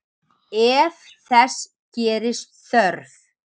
Ef þess gerist þörf